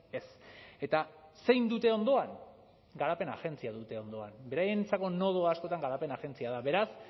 ez eta zein dute ondoan garapen agentzia dute ondoan beraientzako nodoa askotan garapen agentzia da beraz